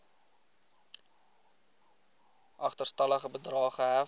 agterstallige bedrae gehef